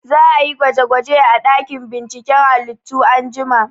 Za a yi gwaje gwaje a ɗakin binciken halittu anjima